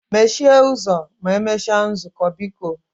Mechie ụzọ ma emechaa nzukọ biko